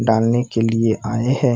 डालने के लिए आये हैं।